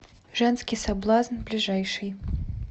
женский соблазн ближайший